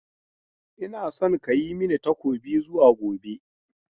Ina son ka yi mani takobi zuwa gobe!